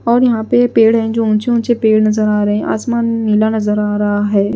और यहां पे पेड़ हैं जो ऊंचे ऊंचे पेड़ नजर आ रहे हैं आसमान नीला नजर आ रहा है।